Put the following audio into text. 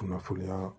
Kunnafoniya